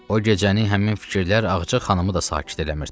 O gecəni həmin fikirlər Ağca xanımı da sakit eləmirdi.